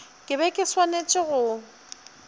ke be ke swanetše go